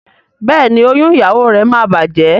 Béèni oyún ìyàwó rẹ má bàjé.